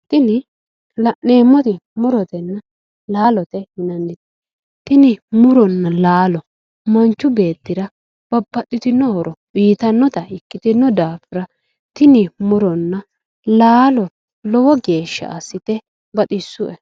Tini la'neemmoti murotenna laalote yinannite tini muronna laalo manchu beetira babbaxitino horo uyitannota ikkitino daafira tini muronna laalo lowo geeshsha assite baxissue